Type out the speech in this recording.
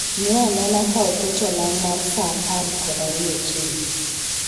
Ng'i anena ka oket olang' mar saa apar kod ariyo okinyi